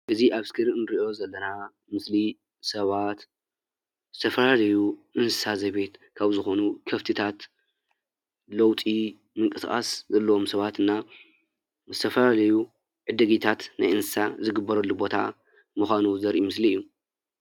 እዚ ኣብ እስክሪን እንሪኦ ዘለና ምስሊ ሰባት ዝተፈላለዩ እንስሳ ዘቤት ካብ ዝኾኑ ከፍትታት ለውጢ ምንቅስቃስ ዘለዎም ሰባት እና ዝተፈላለዩ ዕዲጊታት ናይ እንስሳ ዝግበረሉ ቦታ ምዃኑ ዘረኢ ምስሊ እዩ።